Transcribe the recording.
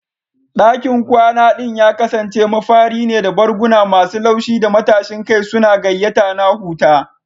Dakin kwana ɗin ya kasance mafari ne, da barguna masu laushi da matashin kai suna gayyata na huta.